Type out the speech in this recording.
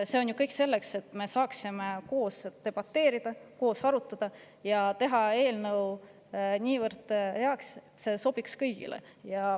See kõik on selleks, et me saaksime koos debateerida, koos arutada ja teha eelnõu niivõrd heaks, et see sobiks kõigile.